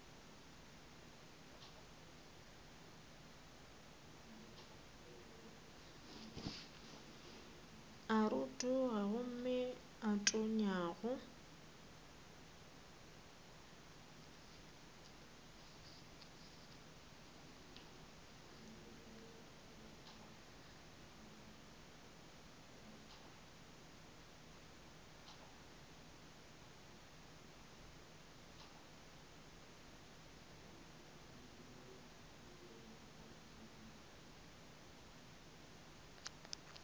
a rotoga gomme a tonyago